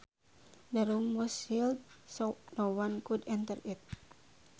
The room was sealed so no one could enter it